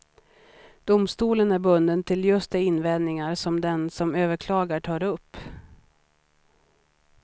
Domstolen är bunden till just de invändningar som den som överklagar tar upp.